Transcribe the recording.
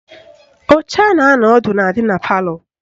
Oche a na-anọ ọdụ na-adị na palọ